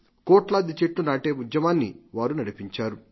కోట్లాది చెట్లు నాటే ఉద్యమాన్ని వారు నడిపించారు